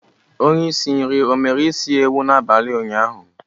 Onye isi nri o mere isi ewu n'abali unyaahu?